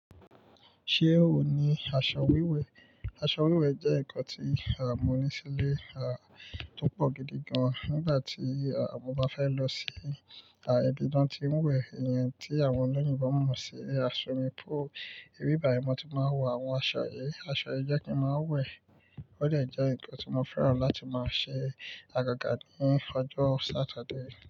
Ṣé ò ní aṣọ wiwẹ́? Aso aṣọ wiwẹ jẹ́ nǹkan tí mọ́ ní sílé tó pọ̀ gidi gan nígbà tí mọ́ bá fẹ́ lọ sí ibi tí wọ́n ń wẹ̀. Ènìyàn tí àwọn olóyìnbo mọ̀ sí Swimming pool, ibi báyi mọ̀ tí máa ń wọ àwọn aṣọ yìí. Aṣọ yìí jẹ́ kí ń máa ń wẹ̀. Ó dẹ̀ ẹ́ nǹkan tí mo fẹ́ràn láti máa ṣe àgàgà ní ọjọ́ Saturday.